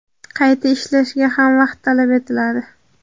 qayta ishlashga ham vaqt talab etiladi.